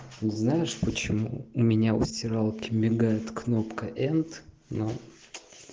ты знаешь почему у меня у стиралки мигает кнопка енд но